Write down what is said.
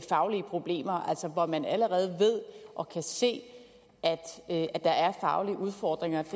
faglige problemer altså hvor man allerede ved og kan se at der er faglige udfordringer det